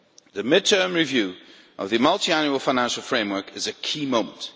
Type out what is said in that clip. The mid-term review of the Multiannual Financial Framework is a key moment.